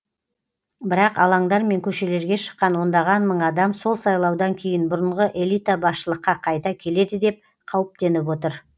бірақ алаңдар мен көшелерге шыққан ондаған мың адам сол сайлаудан кейін бұрынғы элита басшылыққа қайта келеді деп қауіптеніп отыр